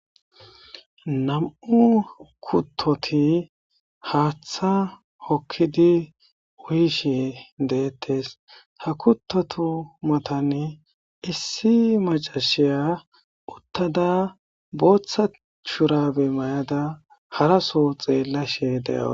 Nam,u kuttoti haaththa hokkidi wuyishe deettes ha kuttotu matani issi macashiya uttada booththa churabe mayada haraso xeellashe de7ao